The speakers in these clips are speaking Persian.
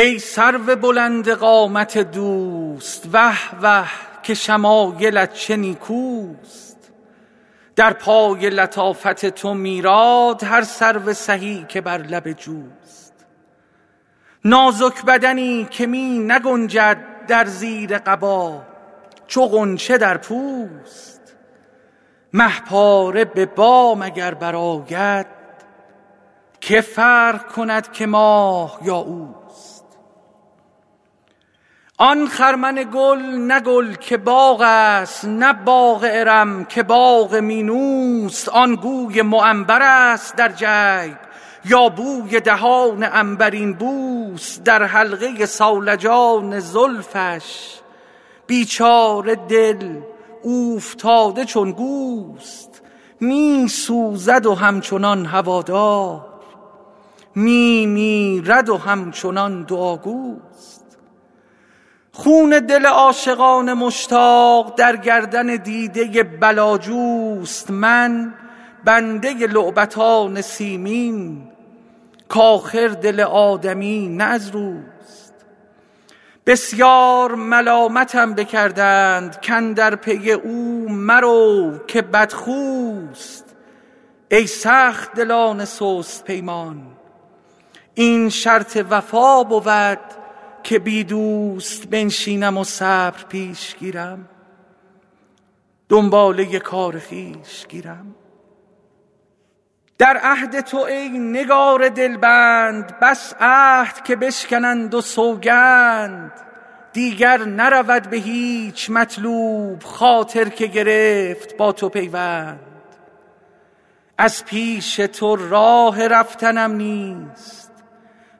ای سرو بلند قامت دوست وه وه که شمایلت چه نیکوست در پای لطافت تو میراد هر سرو سهی که بر لب جوست نازک بدنی که می نگنجد در زیر قبا چو غنچه در پوست مه پاره به بام اگر برآید که فرق کند که ماه یا اوست آن خرمن گل نه گل که باغ است نه باغ ارم که باغ مینوست آن گوی معنبرست در جیب یا بوی دهان عنبرین بوست در حلقه صولجان زلفش بیچاره دل اوفتاده چون گوست می سوزد و همچنان هوادار می میرد و همچنان دعاگوست خون دل عاشقان مشتاق در گردن دیده بلاجوست من بنده لعبتان سیمین کآخر دل آدمی نه از روست بسیار ملامتم بکردند کاندر پی او مرو که بدخوست ای سخت دلان سست پیمان این شرط وفا بود که بی دوست بنشینم و صبر پیش گیرم دنباله کار خویش گیرم در عهد تو ای نگار دلبند بس عهد که بشکنند و سوگند دیگر نرود به هیچ مطلوب خاطر که گرفت با تو پیوند از پیش تو راه رفتنم نیست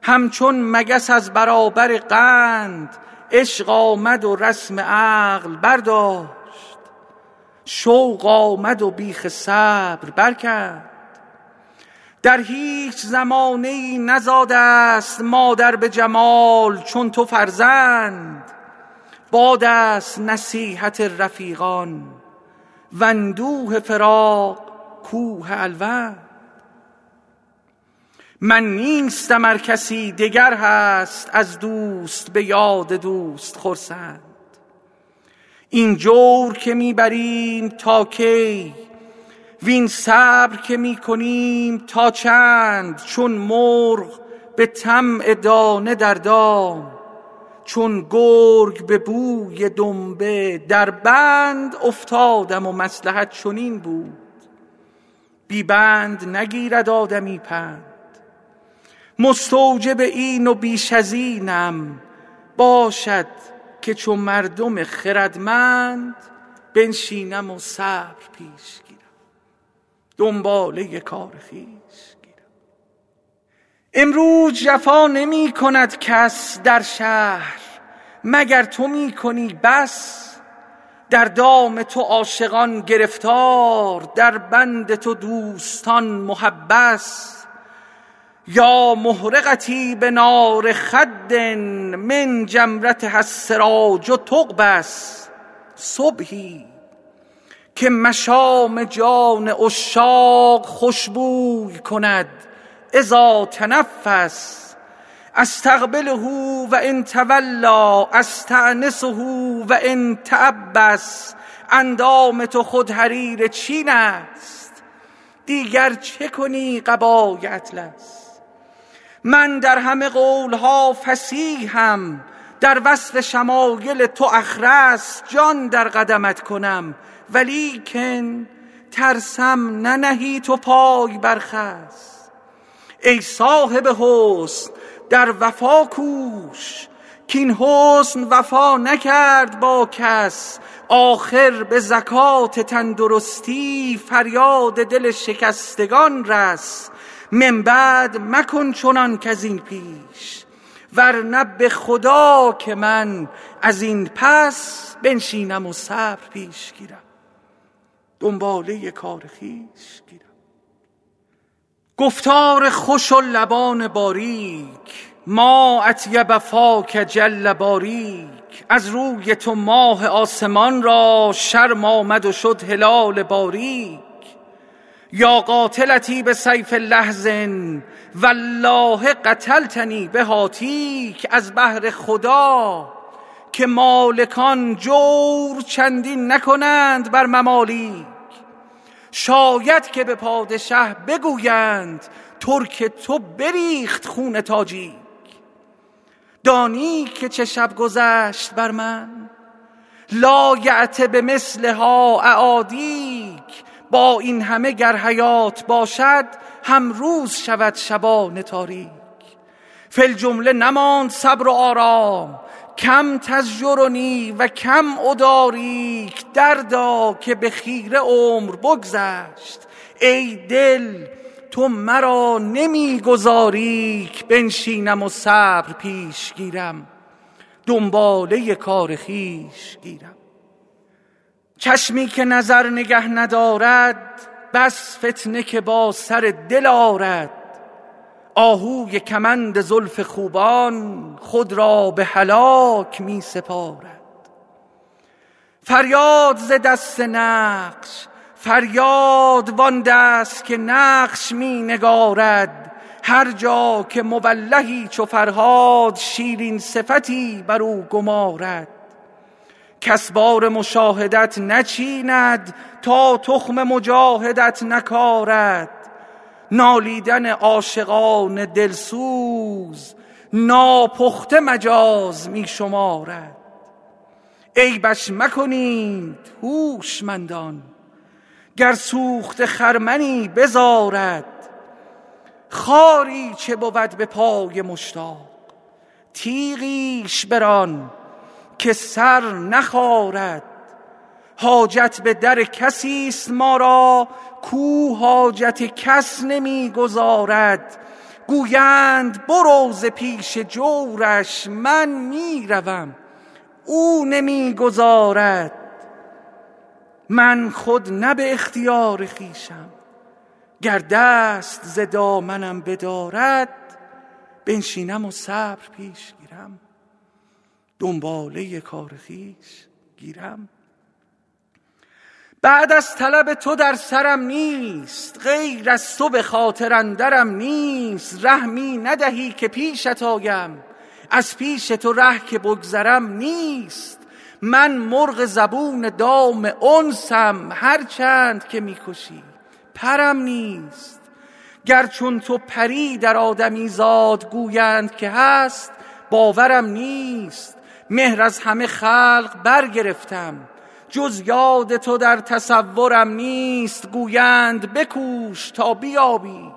همچون مگس از برابر قند عشق آمد و رسم عقل برداشت شوق آمد و بیخ صبر برکند در هیچ زمانه ای نزاده ست مادر به جمال چون تو فرزند باد است نصیحت رفیقان واندوه فراق کوه الوند من نیستم ار کسی دگر هست از دوست به یاد دوست خرسند این جور که می بریم تا کی وین صبر که می کنیم تا چند چون مرغ به طمع دانه در دام چون گرگ به بوی دنبه در بند افتادم و مصلحت چنین بود بی بند نگیرد آدمی پند مستوجب این و بیش از اینم باشد که چو مردم خردمند بنشینم و صبر پیش گیرم دنباله کار خویش گیرم امروز جفا نمی کند کس در شهر مگر تو می کنی بس در دام تو عاشقان گرفتار در بند تو دوستان محبس یا محرقتي بنار خد من جمرتها السراج تقبس صبحی که مشام جان عشاق خوش بوی کند إذا تنفس أستقبله و إن تولیٰ أستأنسه و إن تعبس اندام تو خود حریر چین است دیگر چه کنی قبای اطلس من در همه قول ها فصیحم در وصف شمایل تو أخرس جان در قدمت کنم ولیکن ترسم ننهی تو پای بر خس ای صاحب حسن در وفا کوش کاین حسن وفا نکرد با کس آخر به زکات تندرستی فریاد دل شکستگان رس من بعد مکن چنان کز این پیش ورنه به خدا که من از این پس بنشینم و صبر پیش گیرم دنباله کار خویش گیرم گفتار خوش و لبان باریک ما أطیب فاک جل باریک از روی تو ماه آسمان را شرم آمد و شد هلال باریک یا قاتلتی بسیف لحظ والله قتلتنی بهاتیک از بهر خدا که مالکان جور چندین نکنند بر ممالیک شاید که به پادشه بگویند ترک تو بریخت خون تاجیک دانی که چه شب گذشت بر من لایأت بمثلها أعادیک با این همه گر حیات باشد هم روز شود شبان تاریک فی الجمله نماند صبر و آرام کم تزجرنی و کم أداریک دردا که به خیره عمر بگذشت ای دل تو مرا نمی گذاری ک بنشینم و صبر پیش گیرم دنباله کار خویش گیرم چشمی که نظر نگه ندارد بس فتنه که با سر دل آرد آهوی کمند زلف خوبان خود را به هلاک می سپارد فریاد ز دست نقش فریاد وآن دست که نقش می نگارد هر جا که مولهی چو فرهاد شیرین صفتی برو گمارد کس بار مشاهدت نچیند تا تخم مجاهدت نکارد نالیدن عاشقان دل سوز ناپخته مجاز می شمارد عیبش مکنید هوشمندان گر سوخته خرمنی بزارد خاری چه بود به پای مشتاق تیغیش بران که سر نخارد حاجت به در کسی ست ما را کاو حاجت کس نمی گزارد گویند برو ز پیش جورش من می روم او نمی گذارد من خود نه به اختیار خویشم گر دست ز دامنم بدارد بنشینم و صبر پیش گیرم دنباله کار خویش گیرم بعد از طلب تو در سرم نیست غیر از تو به خاطر اندرم نیست ره می ندهی که پیشت آیم وز پیش تو ره که بگذرم نیست من مرغ زبون دام انسم هر چند که می کشی پرم نیست گر چون تو پری در آدمیزاد گویند که هست باورم نیست مهر از همه خلق برگرفتم جز یاد تو در تصورم نیست گویند بکوش تا بیابی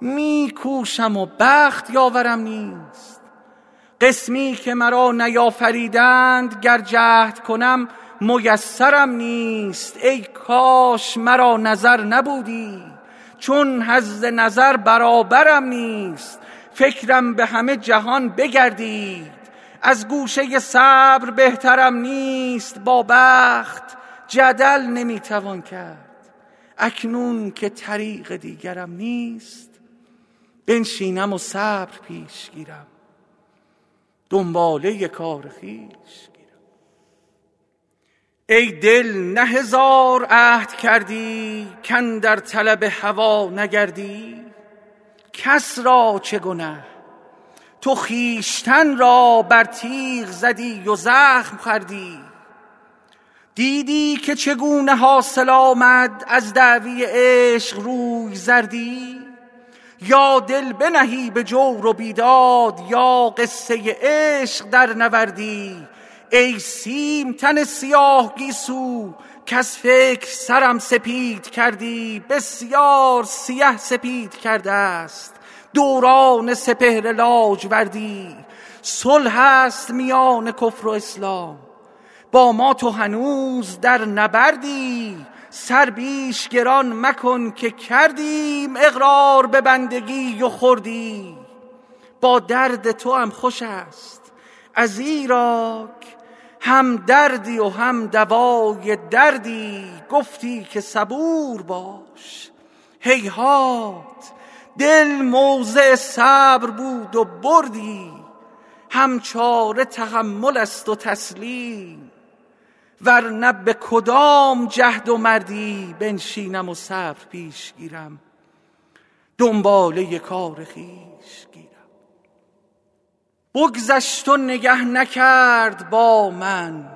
می کوشم و بخت یاورم نیست قسمی که مرا نیافریدند گر جهد کنم میسرم نیست ای کاش مرا نظر نبودی چون حظ نظر برابرم نیست فکرم به همه جهان بگردید وز گوشه صبر بهترم نیست با بخت جدل نمی توان کرد اکنون که طریق دیگرم نیست بنشینم و صبر پیش گیرم دنباله کار خویش گیرم ای دل نه هزار عهد کردی کاندر طلب هوا نگردی کس را چه گنه تو خویشتن را بر تیغ زدی و زخم خوردی دیدی که چگونه حاصل آمد از دعوی عشق روی زردی یا دل بنهی به جور و بیداد یا قصه عشق درنوردی ای سیم تن سیاه گیسو کز فکر سرم سپید کردی بسیار سیه سپید کرده ست دوران سپهر لاجوردی صلح است میان کفر و اسلام با ما تو هنوز در نبردی سر بیش گران مکن که کردیم اقرار به بندگی و خردی با درد توام خوش ست ازیراک هم دردی و هم دوای دردی گفتی که صبور باش هیهات دل موضع صبر بود و بردی هم چاره تحمل است و تسلیم ورنه به کدام جهد و مردی بنشینم و صبر پیش گیرم دنباله کار خویش گیرم بگذشت و نگه نکرد با من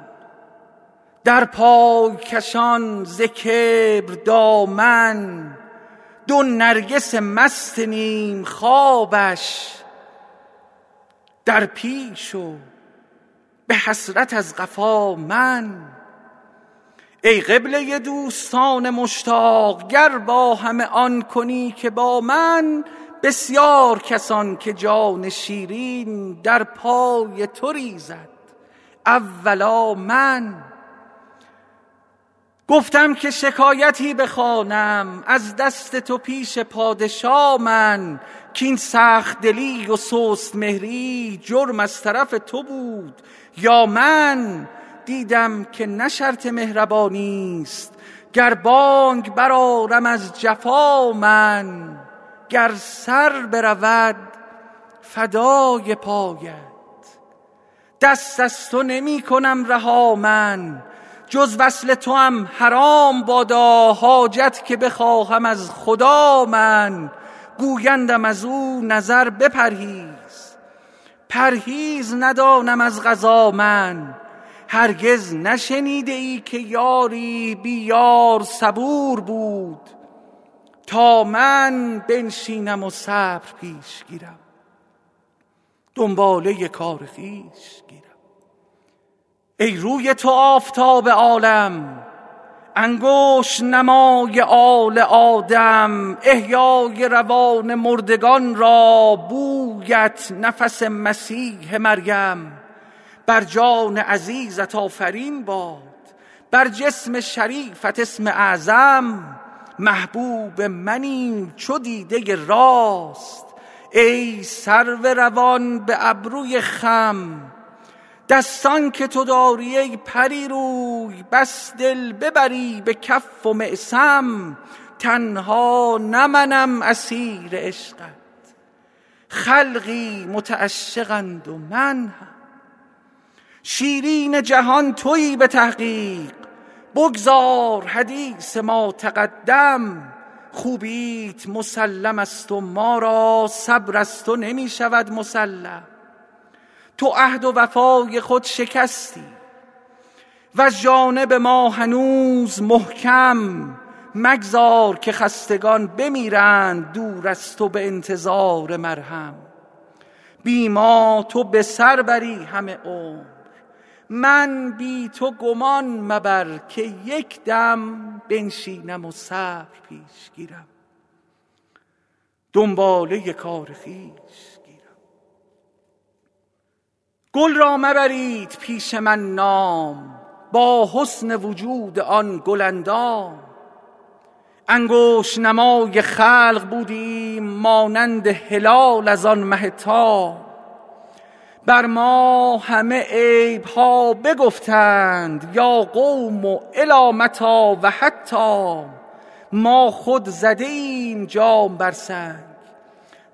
در پای کشان ز کبر دامن دو نرگس مست نیم خوابش در پیش و به حسرت از قفا من ای قبله دوستان مشتاق گر با همه آن کنی که با من بسیار کسان که جان شیرین در پای تو ریزد اولا من گفتم که شکایتی بخوانم از دست تو پیش پادشا من کاین سخت دلی و سست مهری جرم از طرف تو بود یا من دیدم که نه شرط مهربانی ست گر بانگ برآرم از جفا من گر سر برود فدای پایت دست از تو نمی کنم رها من جز وصل توام حرام بادا حاجت که بخواهم از خدا من گویندم ازو نظر بپرهیز پرهیز ندانم از قضا من هرگز نشنیده ای که یاری بی یار صبور بود تا من بنشینم و صبر پیش گیرم دنباله کار خویش گیرم ای روی تو آفتاب عالم انگشت نمای آل آدم احیای روان مردگان را بویت نفس مسیح مریم بر جان عزیزت آفرین باد بر جسم شریفت اسم اعظم محبوب منی چو دیده راست ای سرو روان به ابروی خم دستان که تو داری ای پری روی بس دل ببری به کف و معصم تنها نه منم اسیر عشقت خلقی متعشقند و من هم شیرین جهان تویی به تحقیق بگذار حدیث ما تقدم خوبیت مسلم ست و ما را صبر از تو نمی شود مسلم تو عهد وفای خود شکستی وز جانب ما هنوز محکم مگذار که خستگان بمیرند دور از تو به انتظار مرهم بی ما تو به سر بری همه عمر من بی تو گمان مبر که یک دم بنشینم و صبر پیش گیرم دنباله کار خویش گیرم گل را مبرید پیش من نام با حسن وجود آن گل اندام انگشت نمای خلق بودیم مانند هلال از آن مه تام بر ما همه عیب ها بگفتند یا قوم إلی متیٰ و حتام ما خود زده ایم جام بر سنگ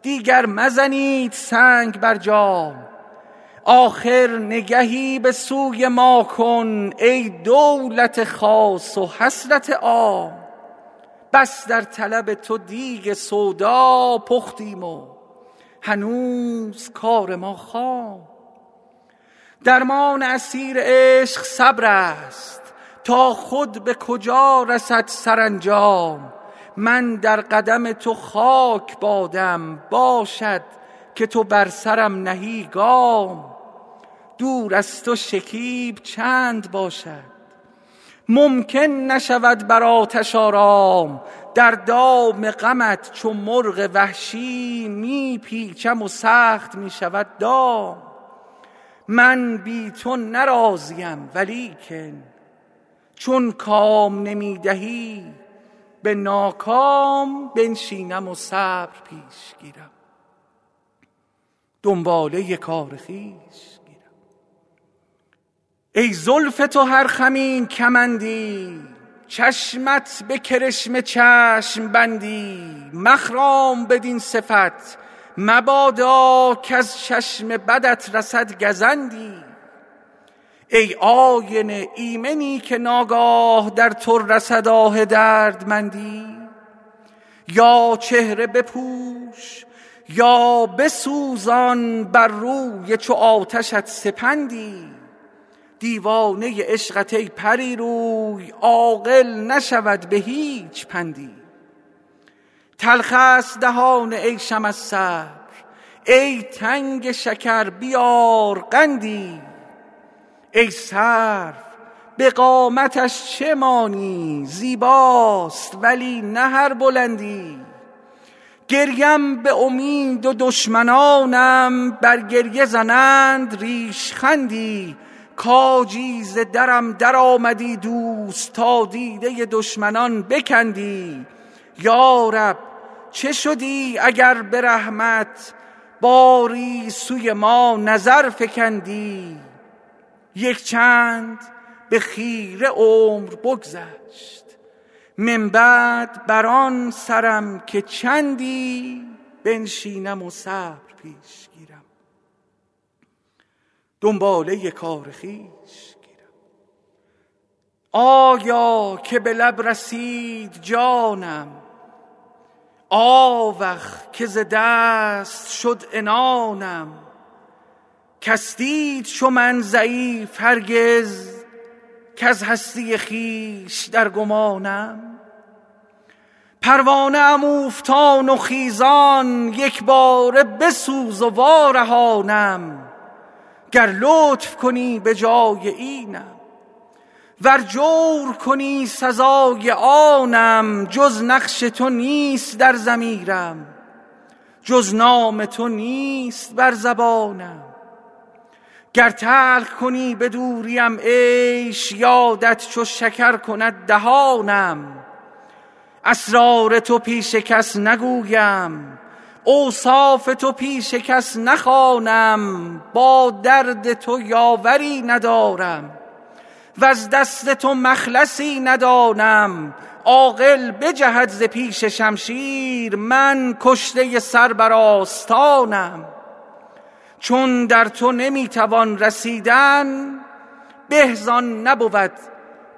دیگر مزنید سنگ بر جام آخر نگهی به سوی ما کن ای دولت خاص و حسرت عام بس در طلب تو دیگ سودا پختیم و هنوز کار ما خام درمان اسیر عشق صبرست تا خود به کجا رسد سرانجام من در قدم تو خاک بادم باشد که تو بر سرم نهی گام دور از تو شکیب چند باشد ممکن نشود بر آتش آرام در دام غمت چو مرغ وحشی می پیچم و سخت می شود دام من بی تو نه راضیم ولیکن چون کام نمی دهی به ناکام بنشینم و صبر پیش گیرم دنباله کار خویش گیرم ای زلف تو هر خمی کمندی چشمت به کرشمه چشم بندی مخرام بدین صفت مبادا کز چشم بدت رسد گزندی ای آینه ایمنی که ناگاه در تو رسد آه دردمندی یا چهره بپوش یا بسوزان بر روی چو آتشت سپندی دیوانه عشقت ای پری روی عاقل نشود به هیچ پندی تلخ ست دهان عیشم از صبر ای تنگ شکر بیار قندی ای سرو به قامتش چه مانی زیباست ولی نه هر بلندی گریم به امید و دشمنانم بر گریه زنند ریشخندی کاجی ز درم درآمدی دوست تا دیده دشمنان بکندی یا رب چه شدی اگر به رحمت باری سوی ما نظر فکندی یک چند به خیره عمر بگذشت من بعد بر آن سرم که چندی بنشینم و صبر پیش گیرم دنباله کار خویش گیرم آیا که به لب رسید جانم آوخ که ز دست شد عنانم کس دید چو من ضعیف هرگز کز هستی خویش در گمانم پروانه ام اوفتان و خیزان یک باره بسوز و وارهانم گر لطف کنی به جای اینم ور جور کنی سزای آنم جز نقش تو نیست در ضمیرم جز نام تو نیست بر زبانم گر تلخ کنی به دوریم عیش یادت چو شکر کند دهانم اسرار تو پیش کس نگویم اوصاف تو پیش کس نخوانم با درد تو یاوری ندارم وز دست تو مخلصی ندانم عاقل بجهد ز پیش شمشیر من کشته سر بر آستانم چون در تو نمی توان رسیدن به زآن نبود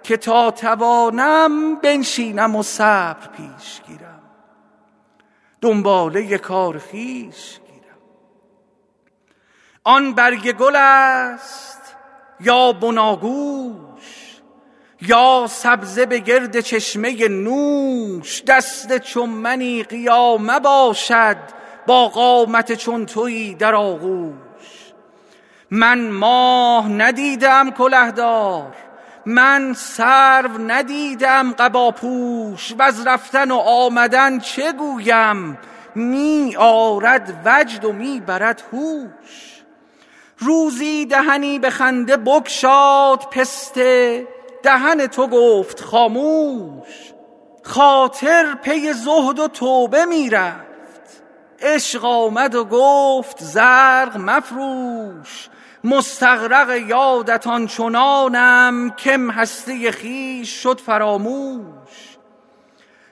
که تا توانم بنشینم و صبر پیش گیرم دنباله کار خویش گیرم آن برگ گل ست یا بناگوش یا سبزه به گرد چشمه نوش دست چو منی قیامه باشد با قامت چون تویی در آغوش من ماه ندیده ام کله دار من سرو ندیده ام قباپوش وز رفتن و آمدن چه گویم می آرد وجد و می برد هوش روزی دهنی به خنده بگشاد پسته دهن تو گفت خاموش خاطر پی زهد و توبه می رفت عشق آمد و گفت زرق مفروش مستغرق یادت آن چنانم کم هستی خویش شد فراموش